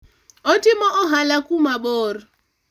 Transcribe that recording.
otimo ohala kumabor